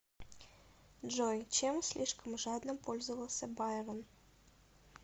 джой чем слишком жадно пользовался байрон